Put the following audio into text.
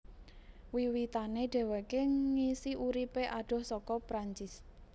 Wiwitané dheweké ngisi uripé adoh saka Perancis